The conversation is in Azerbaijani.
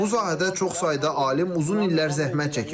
Bu sahədə çox sayda alim uzun illər zəhmət çəkib.